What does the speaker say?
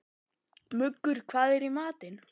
Muggur, hvað er í matinn?